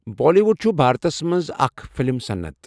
بٲلی wood چھُ بھارتس مَنٛز آكھ فِلِم صنعت.